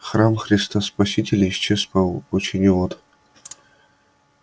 храм христа спасителя исчез в пучине вод